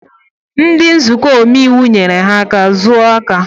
Ndị nzukọ Omeiwu nyere ya aka zuo aka